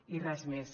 i res més